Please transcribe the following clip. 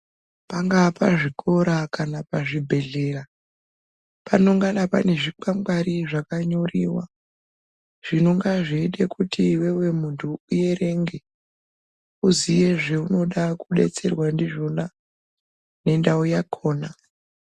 Pangaa pazvikora kana pazvibhehlera panongana pane zvikwangwari zvakanyoriwa zvinonga zveida kuti iwewe muntu uerenge uziye zvaunoda kudetserwa ndizvona nendau yakhona.